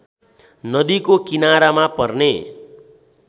नदीको किनारामा पर्ने